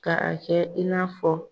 Ka a kɛ i n'a fɔ